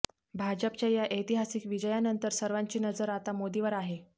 भाजपच्या या ऐतिहासिक विजयानंतर सर्वांची नजर आता मोदीवर आहे